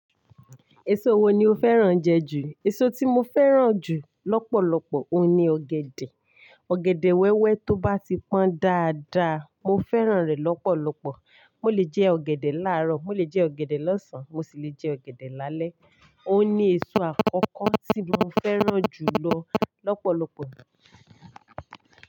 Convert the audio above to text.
Èso wo ni o fẹ́ràn jẹ ju? Èso tí mo fẹ́ràn jù lọ́pọ̀lọpọ̀, òun ni ọ̀gẹ̀dẹ̀. Ọ̀gẹ̀dẹ̀ wẹ́wẹ́ tó bá ti pọ́n dáadáa, mo fẹ́ràn rẹ̀ lọ́pọ̀lọpọ̀. Mo lè jẹ ọ̀gẹ̀dẹ̀ láàárọ̀, mo lè jẹ ọ̀gẹ̀dẹ̀ lọ́sàn-án, mo sì lè jẹ ọ̀gẹ̀dẹ̀ lálẹ́. Òun ni èso àkọ́kọ́ tí mo fẹ́ràn jù lọ́ lọ́pọ̀lọpọ̀.